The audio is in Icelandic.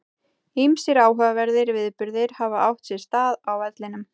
Ýmsir áhugaverðir viðburðir hafa átt sér stað á vellinum.